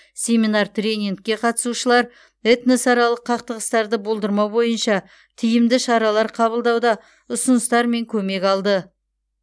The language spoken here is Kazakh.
семинар тренингке қатысушылар этносаралық қақтығыстарды болдырмау бойынша тиімді шаралар қабылдауда ұсыныстар мен көмек алды